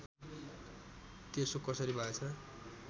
त्यसो कसरी भएछ